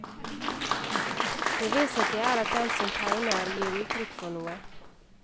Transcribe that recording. Det vesentlige er at den som tegner, gir uttrykk for noe.